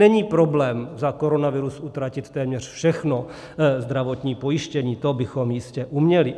Není problém za koronavirus utratit téměř všechno zdravotní pojištění, to bychom jistě uměli.